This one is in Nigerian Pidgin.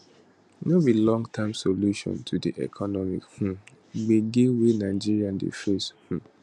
no be long term solution to di economic um gebge wey nigeria dey face um